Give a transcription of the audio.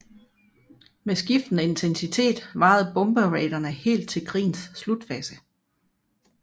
Med skiftende intensitet varede bomberaidene helt til krigens slutfase